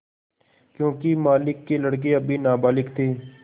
योंकि मालिक के लड़के अभी नाबालिग थे